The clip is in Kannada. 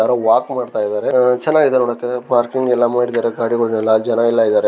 ಯಾರೋ ವಾಕ್ ಮಾಡ್ತಾ ಇದ್ದಾರೆ. ಆಹ್ ಚೆನ್ನಾಗಿದೆ ನೋಡೋಕೆ ಪಾರ್ಕಿಂಗಯೆಲ್ಲ ಮಾಡಿದ್ದಾರೆ ಗಾಡಿಗಳನೆಲ್ಲ ಜನಯಲ್ಲ ಇದ್ದಾರೆ.